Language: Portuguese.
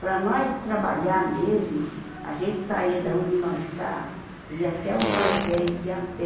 Para nós trabalhar mesmo, a gente saía da onde nós tá e ia até o Valo Velho de a pé,